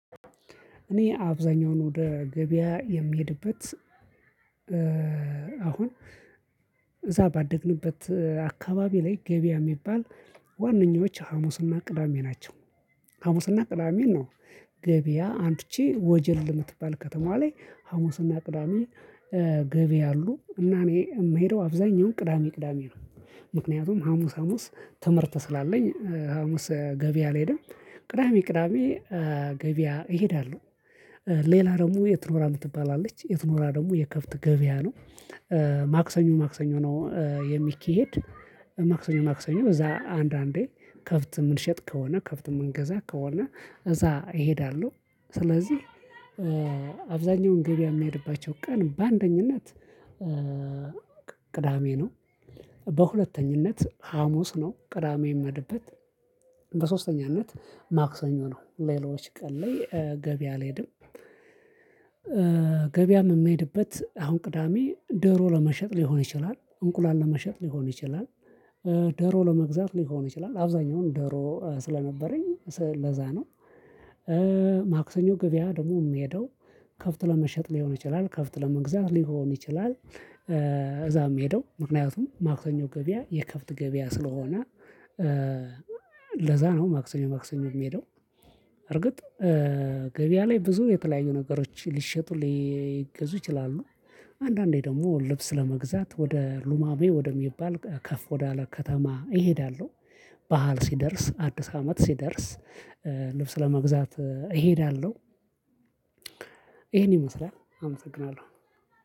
እኔ አብዛኛውን ወደ ገበያ የምሄድበት አሁን ባደግንበት አካባቢ ላይ ገበያ የሚባል ዋናኛዎች ሀሙስና ቅዳሜ ናቸው። ሀሙስና ቅዳሜን ነው። ገበያ አምጥቼ ወጀል የምትባል ከተማ ላይ ሀሙስና ቅዳሜ ገበያ አሉ እና እኔ የምሄደው አብዛኛው ቅዳሜ ቅዳሜ ነው። ምክንያቱም ሀሙስ ሀሙስ ትምርት ስላለኝ ሀሙስ ገበያ አልሄድም። ቅዳሜ ቅዳሜ ገበያ እሄዳለሁ። ሌላ ደግሞ የት ኖራ ምትባል አለች የት ኖራ ደግሞ የከብት ገበያ ነው። ማክሰኞ ማክሰኞ ነው የሚኬድ ማክሰኞ ማክሰኞ እዛ አንዳንዴ ከብት የምንሸጥ ከሆነ ከብት የምንገዛ ከሆነ እዛ እሄዳለሁ። ስለዚህ አብዛኛውን ገበያ የሚሄድባቸው ቀን በአንደኝነት ቅዳሜ ነው። በሁለተኝነት ሀሙስ ነው ቅዳሜ የሚመድበት። በሶስተኛነት ማክሰኞ ነው። ሌሎች ቀን ላይ ገቢያ አልሄድም። ገበያም የምሄድበት አሁን ቅዳሜ ዶሮ ለመሸጥ ሊሆን ይችላል እንቁላል ለመሸጥ ሊሆን ይችላል። ደሮ ለመግዛት ሊሆን ይችላል አብዛኛውን ደሮ ስለነበረኝ ለዛ ነው። ማክሰኞ ገበያ ደግሞ የሚሄደው ከብት ለመሸጥ ሊሆን ይችላል ከብት ለመግዛት ሊሆን ይችላል። እዛም የምሄደው ምክንያቱም ማክሰኞ ገበያ የከብት ገበያ ስለሆነ ለዛ ነው ማክሰኞ ማክሰኞ የሚሄደው። እርግጥ ገበያ ላይ ብዙ የተለያዩ ነገሮች ሊሸጡ ሊገዙ ይችላሉ። አንዳንዴ ደግሞ ልብስ ለመግዛት ወደ ሉማሜ ከፍ ወደሚባል ከፍ ወዳለ ከተማ እሄዳለሁ። ባዓል ሲደርስ አዲስ አመት ሲደርስ ልብስ ለመግዛት እሄዳለሁ። ይሄን ይመስላል አመሰግናለሁ።